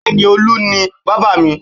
Bẹẹ ni, Olu ni bábà mi